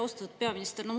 Austatud peaminister!